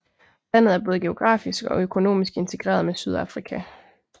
Landet er både geografisk og økonomisk integreret med Sydafrika